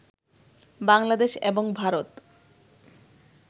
বাংলাদেশ এবং ভারত